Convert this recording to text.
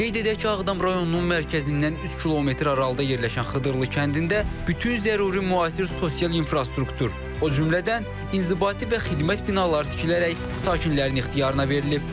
Qeyd edək ki, Ağdam rayonunun mərkəzindən 3 km aralıda yerləşən Xıdırlı kəndində bütün zəruri müasir sosial infrastruktur, o cümlədən inzibati və xidmət binaları tikilərək sakinlərin ixtiyarına verilib.